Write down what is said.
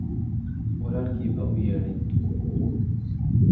Walaalkii baa u yeedhay